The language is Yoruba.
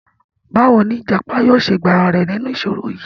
Báwo ni ìjàpá yóò ṣe gba ara rẹ̀ nínú ìṣòro yìí?